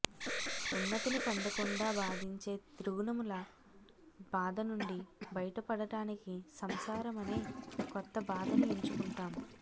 ఉన్నతిని పొందకుండా బాధించే త్రిగుణముల బాధ నుండి బయటపడటానికి సంసారమనే కొత్త బాధను ఎంచుకుంటాం